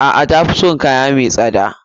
A'a. Tafi son kaya mai tsada.